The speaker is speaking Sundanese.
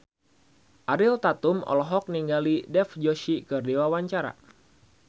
Ariel Tatum olohok ningali Dev Joshi keur diwawancara